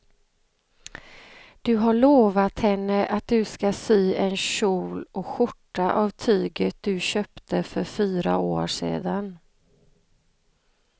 Du har lovat henne att du ska sy en kjol och skjorta av tyget du köpte för fyra år sedan.